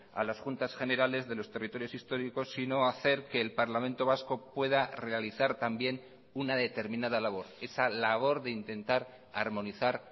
a las juntas generales de los territorios históricos sino hacer que el parlamento vasco pueda realizar también una determinada labor esa labor de intentar armonizar